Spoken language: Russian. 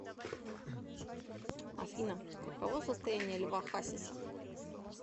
афина каково состояние льва хасиса